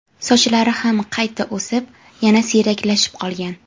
Sochlari ham qayta o‘sib, yana siyraklashib qolgan.